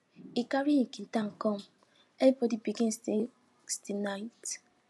e carry him guitar come everybody begin sing till night